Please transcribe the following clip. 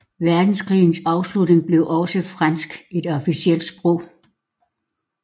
Verdenskrigs afslutning blev også fransk et officielt sprog